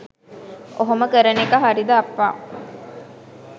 ඔහොම කරන එක හරිද අප්පා.